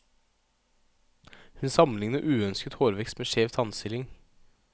Hun sammenligner uønsket hårvekst med skjev tannstilling.